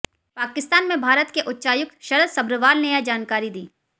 पाकिस्तान में भारत के उच्चायुक्त शरत सभ्रवाल ने यह जानकारी दी